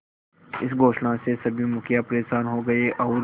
इस घोषणा से सभी मुखिया परेशान हो गए और